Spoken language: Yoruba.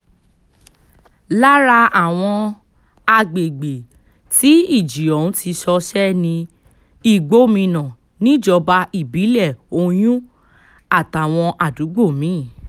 lára àwọn agbègbè tí ìjì òhun ti ṣọṣẹ́ ní igbómìnà níjọba ìbílẹ̀ oyún àtàwọn àdúgbò mi-ín